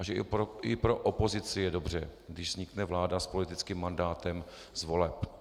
A že i pro opozici je dobře, když vznikne vláda s politickým mandátem z voleb.